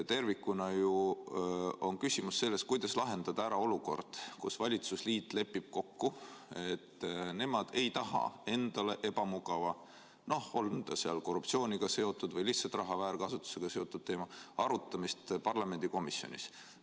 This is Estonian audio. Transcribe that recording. Tervikuna on küsimus ju selles, kuidas lahendada ära olukord, kus valitsusliit lepib kokku, et nemad ei taha endale ebamugava teema – noh, on see siis korruptsiooniga seotud või lihtsalt raha väärkasutusega seotud teema – arutamist parlamendikomisjonis.